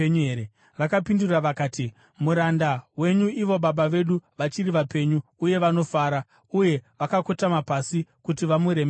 Vakapindura vakati, “Muranda wenyu, ivo baba vedu vachiri vapenyu uye vanofara.” Uye vakakotama pasi kuti vamuremekedze.